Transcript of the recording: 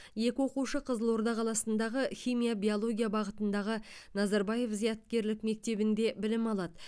екі оқушы қызылорда қаласындағы химия биология бағытындағы назарбаев зияткерлік мектебінде білім алады